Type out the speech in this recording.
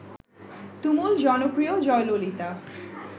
তুমুল জনপ্রিয় জয়ললিতা